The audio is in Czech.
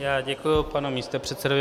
Já děkuji, panu místopředsedovi.